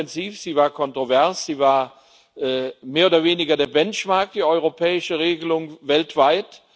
Sie war intensiv, sie war kontrovers, sie war mehr oder weniger der Benchmark, die europäische Regelung weltweit.